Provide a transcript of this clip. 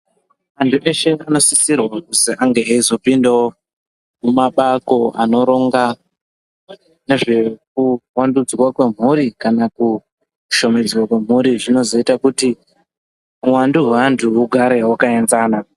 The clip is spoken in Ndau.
Vantu veshe vanosisirwawo kuti vange veizopindawo mjmabako inorongwa nezvemhuri kana kushomedza kwemhuri zvinozoita kuti uwandu hwevantu ugare zvakaenzana.